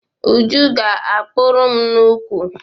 Uju ga-akpụrụ m nnukwu.